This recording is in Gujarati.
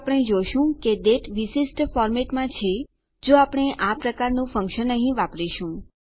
તો આપણે જોશું કે દાતે વિશિષ્ટ ફોર્મેટમાં છે જો આપણે આ પ્રકારનું ફંક્શન અહીં વાપરીશું